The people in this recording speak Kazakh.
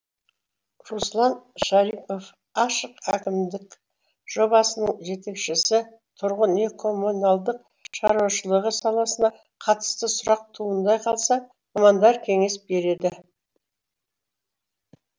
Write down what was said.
руслан шарипов ашық әкімдік жобасының жетекшісі тұрғын үй коммуналдық шаруашылығы саласына қатысты сұрақ туындай қалса мамандар кеңес береді